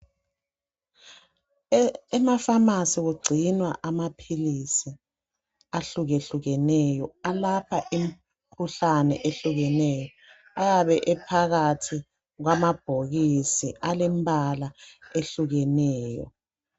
Emaphamacy kungcinwa amapills ahluke hlukeneyo alapha imkhuhlane ehlukeneyo ayabe ephakathi kwamabhokisi alembala ehlukeneyo